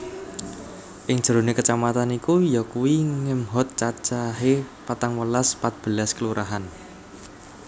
Ing jerone kecamatan iku yakuwi ngemhot cacahe patangwelas patbelas Kelurahan